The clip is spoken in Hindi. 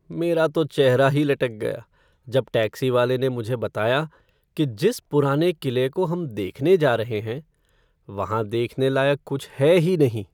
मेरा तो चेहरा ही लटक गया जब टैक्सी वाले ने मुझे बताया कि जिस पुराने किले को हम देखने जा रहे हैं वहाँ देखने लायक कुछ है ही नहीं।